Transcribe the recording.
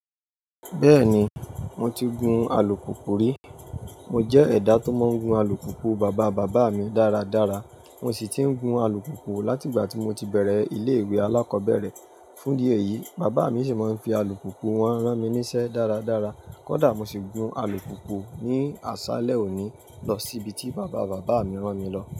Bẹ́ẹ̀ ni, mo ti gun alùpùpù rí. Mo jẹ́ ẹ̀dá tó máa ń gun alùpùpù bàbá bàbá mi dáradára. Mo sì ti ń gun alùpùpù láti ìgbà tí mo ti bẹ̀rẹ̀ ilé-ìwé alákọ̀ọ́bẹ̀rẹ̀. Fúndí èyí, bàbá mi ṣì máa ń fi alùpùpù wọn rán mi níṣẹ́ dáradára. Kódà mo ṣì gun alùpùpù ní àṣálẹ́ òní lọ síbi tí bàbá bàbá mi rán mi lọ.